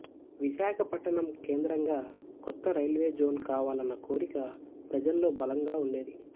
విశాఖపట్టణం కేంద్రంగా కొత్త railway zone కావాలన్న కోరిక ప్రజల్లో బలంగా ఉండేది